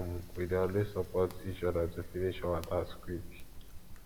um we dey always support each other to finish our task quick